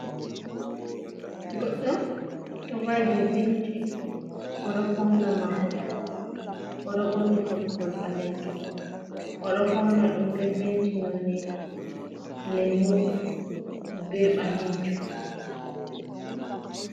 Goɗɗo ɗo va''i dow benci, o ɗo fawna mahol, o ɗo ɓorni toggol ɓaleejum. O ɗo fawna ɗum bee penti noone "leemu" bee ɓaleejum.